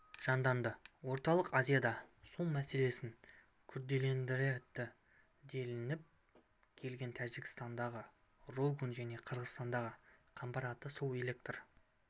жанданды орталық азияда су мәселесін күрделендіреді делініп келген тәжікстандағы рогун және қырғызстандағы қамбар-ата су электр